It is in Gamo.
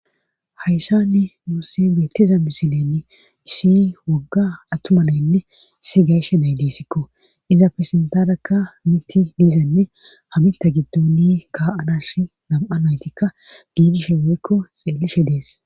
Hayssani nuusse beettiza misileni ishi wogga attumalaynne si gayshe naydisikko iza pirsintarakka miti diizanne habinta giddoni ka7adas nam7a naytikka giidishe weykko xeelishe dees.